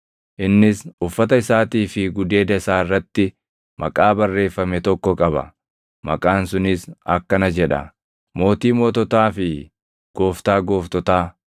Innis uffata isaatii fi gudeeda isaa irratti maqaa barreeffame tokko qaba; maqaan sunis akkana jedha: Mootii Moototaa fi Gooftaa Gooftotaa.